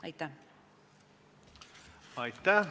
Aitäh!